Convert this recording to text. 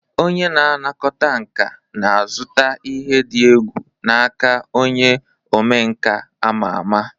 Onye na-anakọta nka na-azụta ihe dị egwu n'aka onye omenkà ama ama.